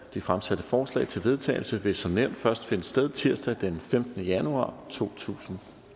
de fremsatte forslag til vedtagelse vil som nævnt først finde sted tirsdag den femtende januar totusinde